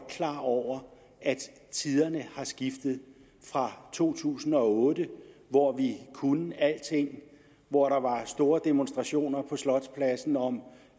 klar over at tiderne har skiftet fra to tusind og otte hvor vi kunne alting hvor der var store demonstrationer på slotspladsen om